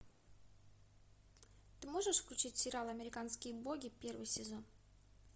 ты можешь включить сериал американские боги первый сезон